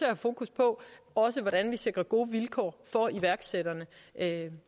have fokus på også hvordan vi sikrer gode vilkår for iværksætterne